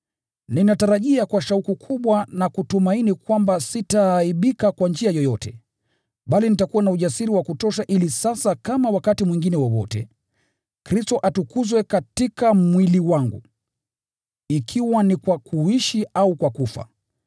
Ninatarajia kwa shauku kubwa na kutumaini kwamba sitaaibika kwa njia yoyote, bali nitakuwa na ujasiri wa kutosha ili sasa kama wakati mwingine wowote, Kristo atukuzwe katika mwili wangu, ikiwa ni kwa kuishi au kwa kufa.